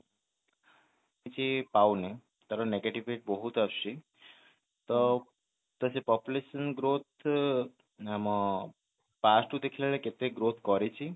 କିଛି ପାଉନି ତାର negative ରେ ବହୁତ ଆସୁଛି ତ ସେ population growth ଅ ଆମ past କୁ ଦେଖିଲାବେଳେ କେତେ growth କରିଛି